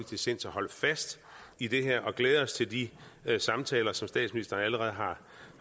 til sinds at holde fast i det her og vi glæder os til de samtaler som statsministeren allerede har